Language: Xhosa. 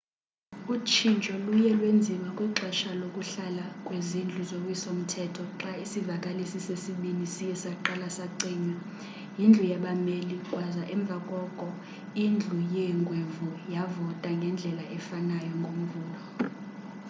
utshintsho luye lwenziwa kwixesha lokuhlala kwezindlu zowiso mthetho xa isivakalisi sesibini siye saqala sacinywa yindlu yabameli kwaza emva koko indlu yeengwevu yavota ngendlela efanayo ngomvulo